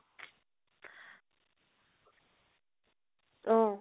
অ